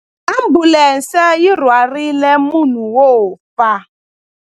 Ambulense yi rhwarile munhu wo fa.